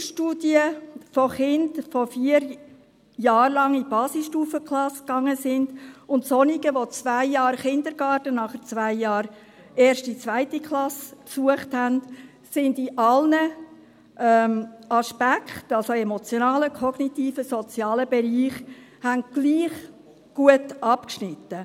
Eine Vergleichsstudie mit Kindern, die vier Jahre lang in eine Basisstufenklasse gingen, und solchen, die zwei Jahre Kindergarten und dann zwei Jahre die erste und die zweite Klasse besuchten, haben in allen Aspekten, also in emotionalen, kognitiven und sozialen Bereichen, gleich gut abgeschnitten.